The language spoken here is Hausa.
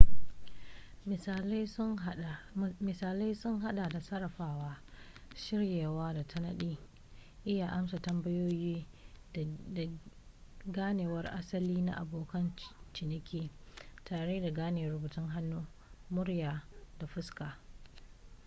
misalai sun hada da sarrafawa shiryawa da tanadi iya amsa tambayoyi da ganewar asali na abokan ciniki tare da gane rubutun hannu murya da fuska